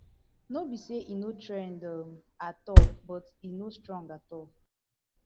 no be say e no trend um at all but e no strong at all